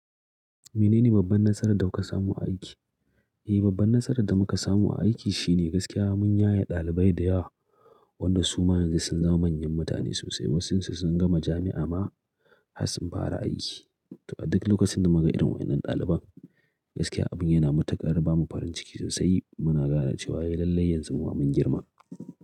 Menene babban nasarar da kuka samu a aiki? Eh, babban nasarar da muka samu a aiki shine gaskiya mun yaye ɗalibai da yawa, wanda su ma yanzu sun zama manyan mutane sosai. Wasun su sun gama jami'a ma har sun fara aiki. Duk lokacin da muka ga irin wannan ɗaliban, gaskiya abin yana matuƙar bamu farin ciki sosai. Muna ganin cewa ya yi lallai yanzu mun girma.